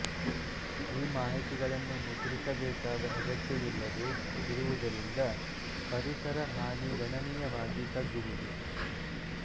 ಈ ಮಾಹಿತಿಗಳನ್ನು ಮುದ್ರಿಸಬೇಕಾದ ಅಗತ್ಯವಿಲ್ಲದೆ ಇರುವುದರಿಂದ ಪರಿಸರ ಹಾನಿ ಗಣನೀಯವಾಗಿ ತಗ್ಗುವುದು